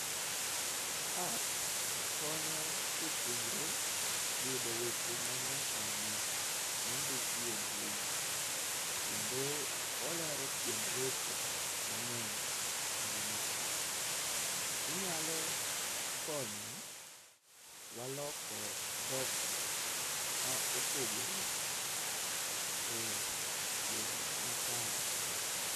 Apps konyo jopuonjre yudo weche ma nya sani mondikie mbui, kendo olero tiend weche mang'eny eyo matut. Ginyalo konyo wa loko dhok ma opogore e yo makare.